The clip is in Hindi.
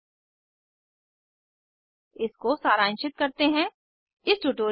यह भारत सरकार के एम एच आर डी के आई सी टी के माध्यम से राष्ट्रीय साक्षरता मिशन द्वारा समर्थित है